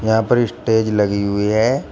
यहां पर ये स्टेज लगी हुई है।